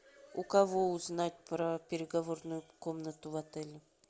у кого узнать про переговорную комнату в отеле